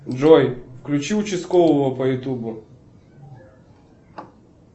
джой включи участкового по ютубу